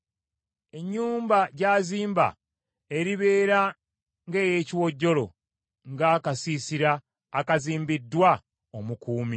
Ennyumba gy’azimba eribeera ng’ey’ekiwojjolo; ng’akasiisira akazimbiddwa omukuumi.